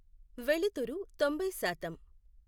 వెలుతురు తొంభై శాతం